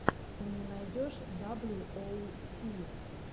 ты мне найдешь даблю оу си